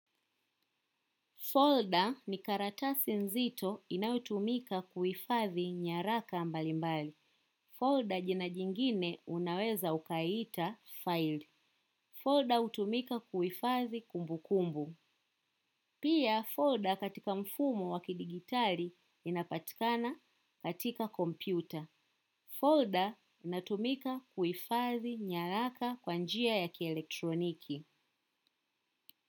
Folder ni karatasi nzito inayotumika kuhifadhi nyaraka mbalimbali. Folder jina jingine unaweza ukaiita File. Folder utumika kuifazi kumbu kumbu. Pia folder katika mfumo wa kidijitali inapatikana katika kompyuta. Folder inatumika kuhifadhi nyaraka kwa njia ya kielektroniki.